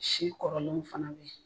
Si kɔrɔlen fana bɛ yen.